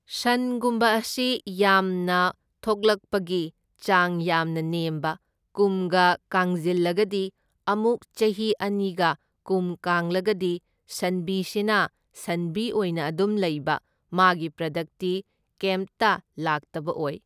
ꯁꯟꯒꯨꯝꯕ ꯑꯁꯤ ꯌꯥꯝꯅ ꯊꯣꯛꯂꯛꯄꯒꯤ ꯆꯥꯡ ꯌꯥꯝꯅ ꯅꯦꯝꯕ, ꯀꯨꯝꯒ ꯀꯥꯡꯖꯤꯜꯂꯒꯗꯤ ꯑꯃꯨꯛ ꯆꯍꯤ ꯑꯅꯤꯒ ꯀꯨꯝ ꯀꯥꯡꯂꯒꯗꯤ ꯁꯟꯕꯤꯁꯤꯅ ꯁꯟꯕꯤ ꯑꯣꯏꯅ ꯑꯗꯨꯝ ꯂꯩꯕ, ꯃꯥꯒꯤ ꯄ꯭ꯔꯗꯛꯇꯤ ꯀꯦꯝꯇ ꯂꯥꯛꯇꯕ ꯑꯣꯏ꯫